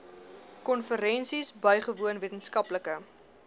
konferensies bygewoon wetenskaplike